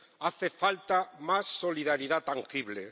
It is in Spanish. Hace falta más solidaridad tangible.